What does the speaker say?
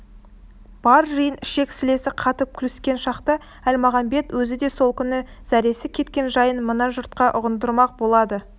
бар жиын ішек-сілесі қатып күліскен шақта әлмағамбет өзі де сол күні зәресі кеткен жайын мына жұртқа ұғындырмақ болады